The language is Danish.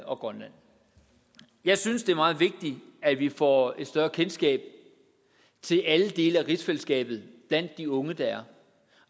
og grønland jeg synes det er meget vigtigt at vi får et større kendskab til alle dele af rigsfællesskabet blandt de unge